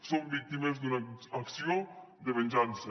som víctimes d’una acció de venjança